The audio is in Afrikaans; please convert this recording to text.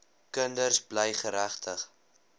kinders bly geregtig